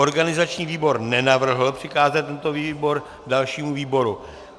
Organizační výbor nenavrhl přikázat tento návrh dalšímu výboru.